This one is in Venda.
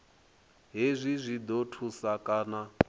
hezwi zwi ḓo thusa kha